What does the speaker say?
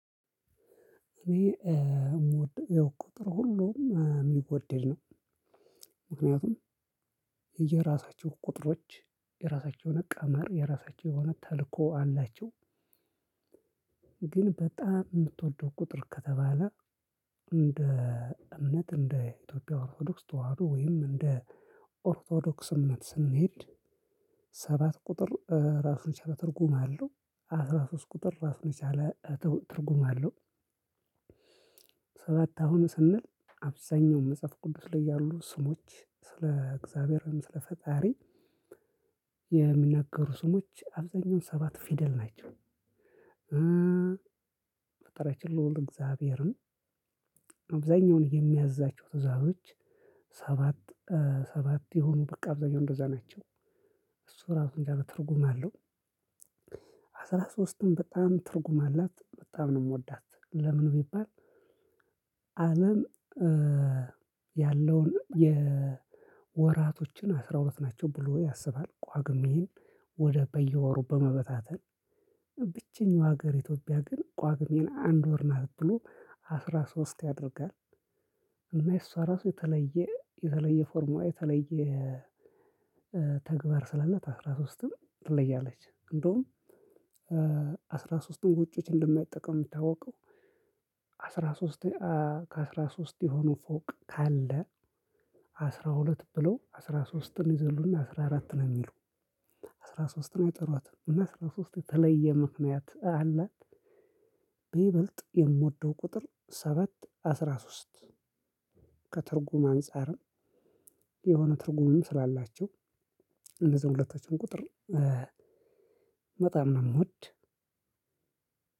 እኔ የምወደው የቁጥር ሁሉም የሚወደድ ነው። ምክንያቱም የየራሳቸው ቁጥሮች የራሳቸው ቀመር የራሳቸው ተልእኮ አላቸው። ግን በጣም የምትወደው ቁጥር ከተባለ እንደ እምነት እንደ ኢትዮጲያ ኦርቶዶክስ ተዋህዶ ወይም እንደ ኦርቶዶክስ እምነት ስንሄድ ሰባት ቁጥር ራሱን የቻለ ትርጉም አለው አስራ ሶስት ቁጥር ራሱን የቻለ ትርጉም አለው። ሰባት አሁን ስንል አብዛኛው መጽሐፍ ቅዱስ ላይ ያሉ ስሞች ስለ እግዚአብሔርም ስለ ፈጣሪ የሚናገሩ ስሞች አብዛኛውን ሰባት ፊደል ናቸው። ፈጣሪያችን ልኡል እግዚአብሔርም አብዛኛውን የሚያዛቸው ትዛዞች ሰባት ሰባት የሆኑ በቃ አብዛኛው እንደዛ ናቸው እሱ ራሱን የቻለ ትርጉም አለው። አስራ ሶስትም በጣም ትርጉም አላት በጣም ነው የምወዳት ለምን ቢባል? አለም ያለውን የወራቶችን አስራሁለት ናቸው ብሎ ያሰባል ጳጉሜን ወደ በየወሩ በመበታተን ብቸኛው ሀገር ኢትዮጵያ ግን ጳጉሜን አንድ ወር ናት ብሎ አስራ ሶስት ያደርጋል። እና የሷ ራሱ የተለየ የተለየ ፎርም የተለየ ተግባር ስላለት አስራ ሶስትም ትለያለች እንደውም። አስራ ሶስትን ውጪዎች እንደማይጠቀሙ የሚታወቀው። አስራ ሶስት ከአስራ ሶስት የሆኑ ፎቅ ካለ አስራ ሁለት ብለው አስራ ሶስትን ይዘሉና አስራ አራትን የሚሉ አስራ ሶስትን አይጠርዋትም እና አስራ ሶስት የተለየ ምክንያት አላት። በይበልጥ የምወደው ቁጥር ሰባት አስራ ሶስት ከትርጉም አንፃር የሆነ ትርጉምም ስላላቸው እነዝሂን ሁለቶችን ቁጥር በጣም ነው የምወድ።